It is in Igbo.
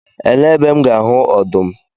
Elee ebe M ga-ahụ ọdụm?